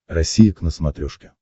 россия к на смотрешке